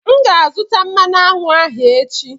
M ga-azụta mmanụ aṅụ ahụ echi.